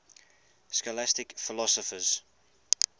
scholastic philosophers